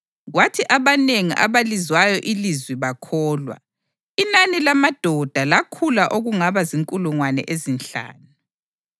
Kodwa abanengi abalizwayo ilizwi bakholwa, inani lamadoda lakhula okungaba zinkulungwane ezinhlanu.